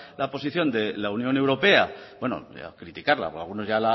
la posición de la unión europea bueno criticarla o algunos ya